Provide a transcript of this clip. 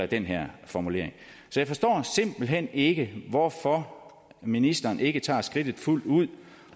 den her formulering så jeg forstår simpelt hen ikke hvorfor ministeren ikke tager skridtet fuldt ud